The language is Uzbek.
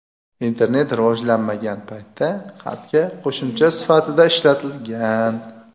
internet rivojlanmagan paytda xatga qo‘shimcha sifatida ishlatilgan.